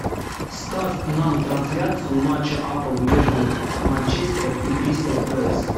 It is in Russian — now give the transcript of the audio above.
ставь нам трансляцию матча апл между манчестером и кристал пэлас